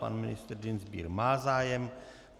Pan ministr Dienstbier má zájem.